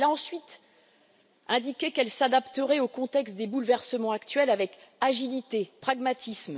Elle a ensuite indiqué qu'elle s'adapterait au contexte des bouleversements actuels avec agilité et pragmatisme.